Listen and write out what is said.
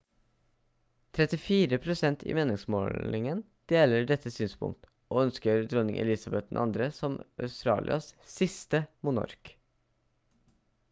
34 prosent i meningsmålingen deler dette synspunkt og ønsker dronning elizabeth ii som australias siste monark